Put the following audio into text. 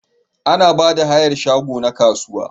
Ana Bada hayar shago na kasuwa